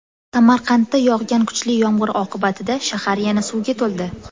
Samarqandda yog‘gan kuchli yomg‘ir oqibatida shahar yana suvga to‘ldi.